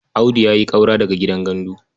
Audu ya ƙaura daga gidan gandu.